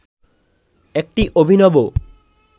একটি অভিনব